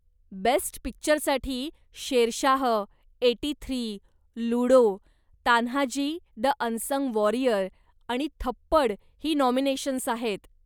Best पिक्चरसाठी Shershaah, eighty three, Ludo, Tanhaji the unsung warrior आणि थप्पड ही नाॅमिनेशन्स आहेत.